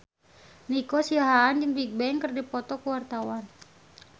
Nico Siahaan jeung Bigbang keur dipoto ku wartawan